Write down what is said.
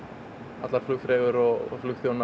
allar flugfreyjur og flugþjónar